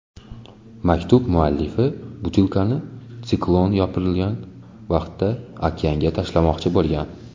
Maktub muallifi butilkani siklon yopirilgan vaqtda okeanga tashlamoqchi bo‘lgan.